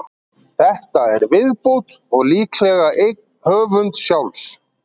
Þetta er viðbót, og líklega eign höf. sjálfs.